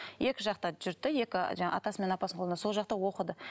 екі жақта жүрді екі жаңағы атасы мен апасының қолында сол жақта оқыды